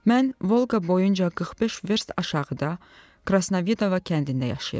Mən Volqa boyunca 45 verst aşağıda Krasnavidova kəndində yaşayıram.